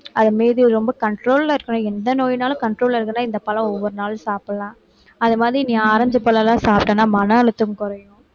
ஏன் அதுல எல்லாம் cake லாம் செய்வாங்கல blueberry cake உ blackberry cake உ